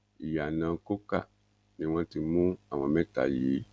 ìyànà coker ni wọn ti mú àwọn mẹta yìí